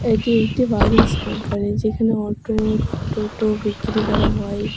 এটি একটি বালিশ কোম্পানি যেখানে অটো টোটো বিক্রি করা হয় এখা--